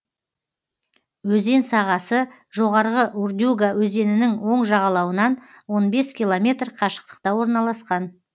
өзен сағасы жоғарғы урдюга өзенінің оң жағалауынан он бес километр қашықтықта орналасқан